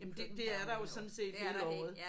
Jamen det det er der jo sådan set hele året